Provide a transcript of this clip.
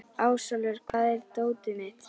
Ásólfur, hvar er dótið mitt?